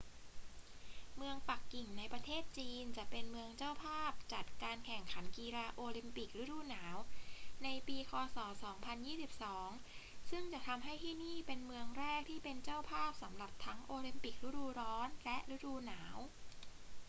เมืองปักกิ่งในประเทศจีนจะเป็นเมืองเจ้าภาพจัดการแข่งขันกีฬาโอลิมปิกฤดูหนาวในปีค ศ. 2022 ซึ่งจะทำให้ที่นี่เป็นเมืองแรกที่เป็นเจ้าภาพสำหรับทั้งโอลิมปิกฤดูร้อนและฤดูหนาว